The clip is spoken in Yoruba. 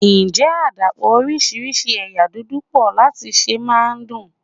Ǹjẹ́ àdàpọ̀ oríṣiríṣi ẹ̀yà núdù pọ̀ láti sè máa ń dùn?